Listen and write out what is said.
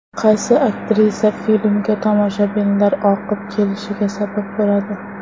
Qaysi aktrisa filmga tomoshabinlar oqib kelishiga sabab bo‘ladi.